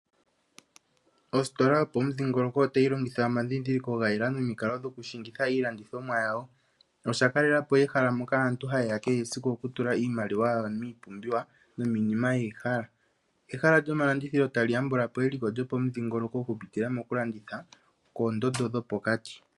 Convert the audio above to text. Ostola yopomudhingoloko otayi longitha omadhidhiliko ga yela nomikalo dhoku shingitha iilandithomwa yawo, na osha kalelapo ehala moka aantu ha yeya kehe esiku oku tula iimaliwa yawo miipumbiwa nomiinima yeyi hala. Ehala lyomalandithilo tali yambulapo eliko lyopomudhingoloko oku pitila mokulanditha koondondo dhopokati.